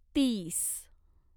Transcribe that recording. तीस